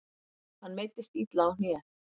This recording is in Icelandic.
Hann meiddist illa á hné.